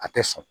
A tɛ sɔn